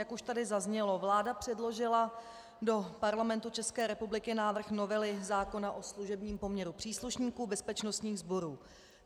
Jak už tady zaznělo, vláda předložila do Parlamentu České republiky návrh novely zákona o služebním poměru příslušníků bezpečnostních sborů.